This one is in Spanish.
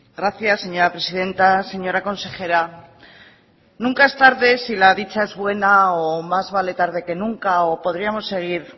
gracias señora presidenta señora consejera nunca es tarde si la dicha es buena o más vale tarde que nunca o podríamos seguir